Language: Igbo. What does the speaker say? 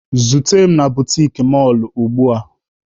Zute m na butiki mọlụ ugbua!